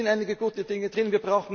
Ja, da sind einige gute Dinge drin.